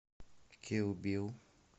кил бил